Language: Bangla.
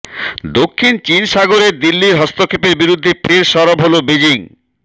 দক্ষিণ চিন সাগরে দিল্লির হস্তক্ষেপের বিরুদ্ধে ফের সরব হল বেজিং